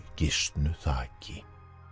gisnu þaki